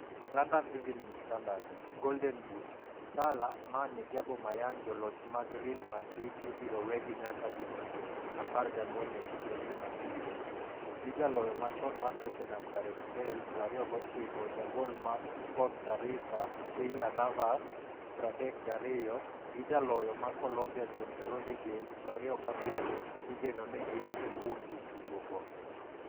(London Evening Standard) Golden Boot: Salah, Mane gi Aubameyang joloch mag Real Madrid ibiro wegi nyaka jotugo 14 e kinde ni mag liet, gi jaloyo machon mar Tottenham Gareth Bale, 29,jagol ma Costa Rica Keylor Navas, 32, gi jaloyo ma Colombia James Rodriguez, 27, igeno ni gin e kuom jotugo go.